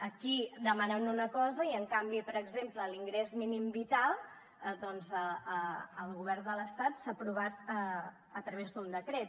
aquí demanen una cosa i en canvi per exemple l’ingrés mínim vital doncs al govern de l’estat s’ha aprovat a través d’un decret